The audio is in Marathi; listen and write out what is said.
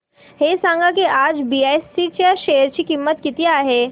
हे सांगा की आज बीएसई च्या शेअर ची किंमत किती आहे